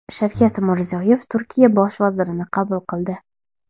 Shavkat Mirziyoyev Turkiya bosh vazirini qabul qildi.